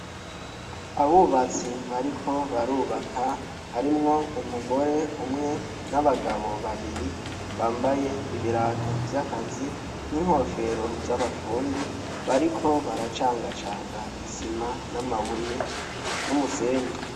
Abubatsi bariko barubaka harimwo umugore umwe n'abagabo babiri bambaye ibirato vy'akazi n'inkofero z'abafundi bariko baracangacanga isima n'amabuye n'umusenyi.